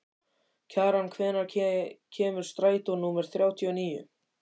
Kjaran, hvenær kemur strætó númer þrjátíu og níu?